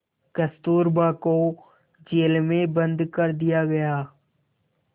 कस्तूरबा को जेल में बंद कर दिया गया